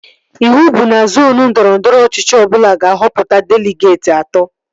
Ịwụ bụ na zoonu ndọrọndọrọ ọchịchị ọbụla ga-ahọpụta deligeetị atọ